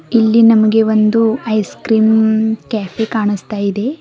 ಇಲ್ಲಿ ನಮಗೆ ಒಂದು ಐಸ್ ಕ್ರೀಮ್ ಕೆಫೆ ಕಾಣಿಸ್ತಾಯಿದೆ.